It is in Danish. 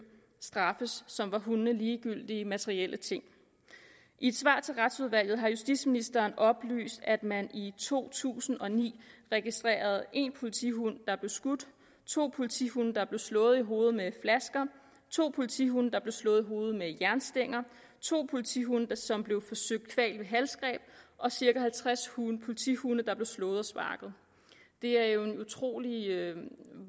straffes som var hundene ligegyldige materielle ting i et svar til retsudvalget har justitsministeren oplyst at man i to tusind og ni registrerede en politihund der blev skudt to politihunde der blev slået i hovedet med flasker to politihunde der blev slået i hovedet med jernstænger to politihunde som blev forsøgt kvalt ved halsgreb og cirka halvtreds politihunde der blev slået og sparket det er jo en utrolig